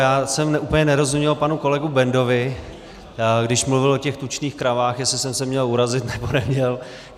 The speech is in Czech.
Já jsem úplně nerozuměl panu kolegu Bendovi, když mluvil o těch tučných kravách, jestli jsem se měl urazit, nebo neměl.